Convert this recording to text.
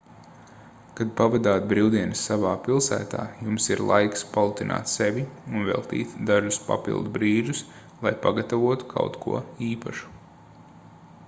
kad pavadāt brīvdienas savā pilsētā jums ir laiks palutināt sevi un veltīt dažus papildu brīžus lai pagatavotu kaut ko īpašu